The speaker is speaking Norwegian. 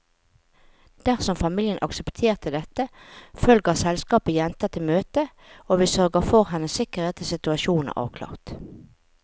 Dersom familien aksepterer dette, følger selskapet jenta til møtet, og vi sørger for hennes sikkerhet til situasjonen er avklart.